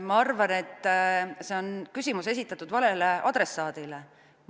Ma arvan, et see küsimus on esitatud valele adressaadile.